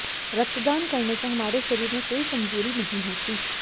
रक्तदान करने से हमारे शरीर में कोई कमजोरी नहीं होती